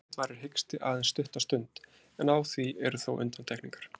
Yfirleitt varir hiksti aðeins stutta stund, en á því eru þó undantekningar.